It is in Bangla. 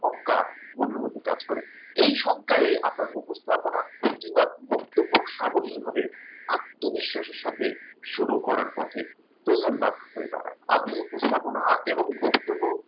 আশঙ্কা মনের মধ্যে কাজ করে এই শঙ্কায় আপনার উপস্থাপনা কিংবা বক্তব্য সাবলীল হবে আত্মবিশ্বাসের সাথে শুরু করার পথে প্রধান বাধা হয়ে দাঁড়ায় আমি উপস্থাপনা এবং বক্তব্য